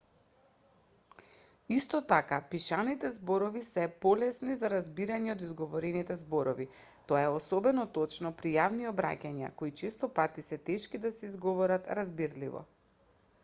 исто така пишаните зборови се полесни за разбирање од изговорените зборови тоа е особено точно при јавни обраќања кои често пати се тешки да се изговорат разбирливо